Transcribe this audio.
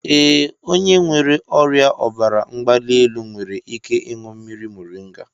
Ee, onye nwere ọrịa ọbara mgbali elu nwere ike ịñụ mmiri moringa.